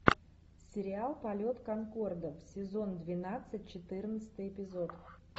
сериал полет конкордов сезон двенадцать четырнадцатый эпизод